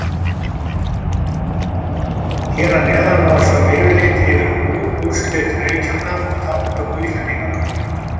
Hér að neðan má sjá yfirlit yfir úrslit leikjanna og þátttöku Íslendinganna.